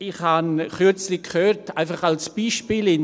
Ich habe kürzlich einfach als Beispiel gehört: